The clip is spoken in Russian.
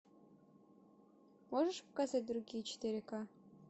можешь показать другие четыре ка